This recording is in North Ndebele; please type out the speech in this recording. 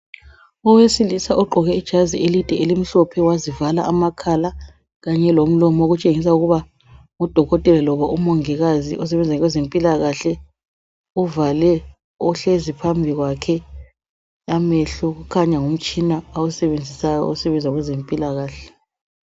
Owesilisa ogqoke ijazi elide elimhlophe wazivala amakhala kanye lomlomo okutshengisa ukuba ngudokotela loba umongikazi osebenza kwezempilakahle. Uvale ohlezi phambi kwakhe amehlo kukhanya ngumtshina awusebenzisayo osebenza kwezempilakahle .